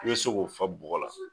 I bɛ se k'o fa bɔgɔ la